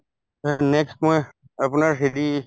তাৰপাছত next মই আপোনাৰ হেৰি